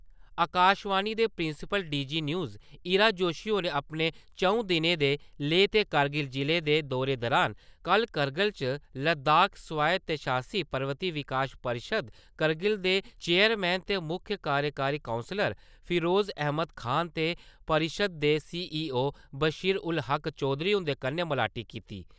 आकाशवाणी दे principal D G news Ira Joshi होरें अपने चं`ऊ दिनें दे लेह ते करगिल जिले दे दौरे दौरान कल करगिल च लद्दाख स्वायत्शासी पर्वती विकास परिशद करगिल दे चैयरमैन ते मुक्ख कार्यकारी कौंसलर फिरोजा अहमद खान ते परिशद दे सीईओ बसीर उल हक चौधरी उं`दे कन्नै मलाटी कीती।